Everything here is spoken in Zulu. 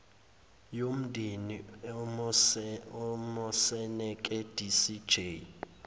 yomndeni umoseneke dcj